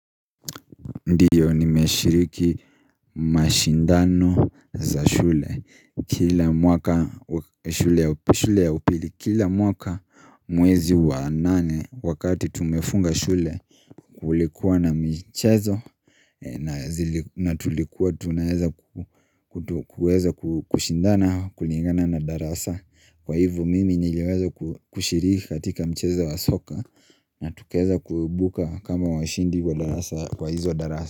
Ndiyo nimeshiriki mashindano za shule Kila mwaka shule ya upili Kila mwaka mwezi wa nane wakati tumefunga shule Kulikuwa na michezo na tulikuwa tunaweza kuweza kushindana kulingana na darasa Kwa hivo mimi niliweza kushiriki katika mchezo wa soka na tukaweza kuibuka kama washindi kwa hizo darasa.